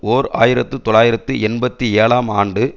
ஓர் ஆயிரத்து தொள்ளாயிரத்து எண்பத்தி ஏழாம் ஆண்டு